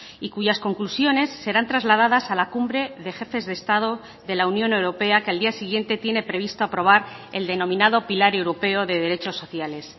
y cuyas conclusiones serán trasladadas a la cumbre de jefes de estado de la unión europea que al día siguiente tiene previsto aprobar el denominado pilar europeo de derechos sociales